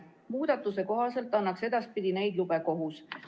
Muudatuse kohaselt annaks edaspidi neid lube kohus.